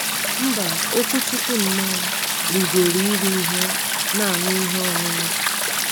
Mba, Okwuchukwu nnọọ “ rigoro iri ihe na aṅụ ihe ọṅụṅụ.